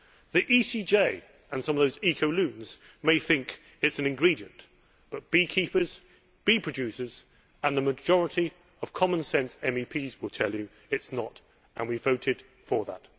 The ECJ and some of those eco loons may think it is an ingredient, but beekeepers, bee producers and the majority of common sense MEPs will tell you that it is not, and we voted for that.